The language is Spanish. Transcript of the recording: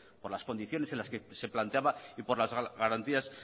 por las condiciones que se planteaba y por las garantías